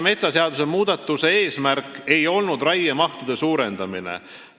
" Metsaseaduse viimase muutmise eesmärk ei olnud raiemahtude suurendamine.